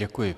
Děkuji.